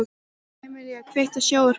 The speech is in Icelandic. Emelía, kveiktu á sjónvarpinu.